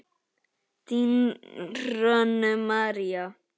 Þín Hrönn María.